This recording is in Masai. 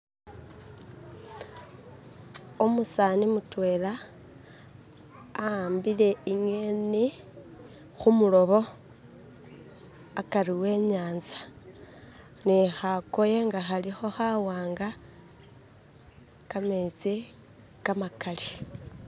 umusani mutwela awambile inyeni humulobo akari wenyanza nihakoye nga haliho hawamga kametsi kamakali